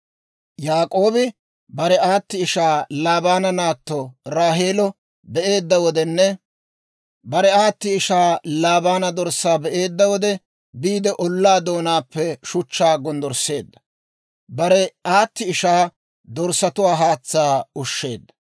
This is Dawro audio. Yaak'oobi bare aati ishaa Laabaana naatto Raaheelo be'eedda wodenne, bare aati ishaa Laabaana dorssaa be'eedda wode, biide ollaa doonaappe shuchchaa gonddorsseedda; bare aati ishaa dorssatuwaa haatsaa ushsheedda.